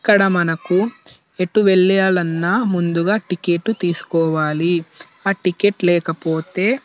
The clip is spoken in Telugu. ఇక్కడ మనకు ఎటు వెళ్ళాలి అన్న ముందుగా టికెట్ తీసుకోవాలి ఆ టికెట్ లేకపోతె--